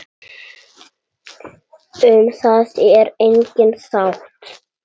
Um það er engin sátt.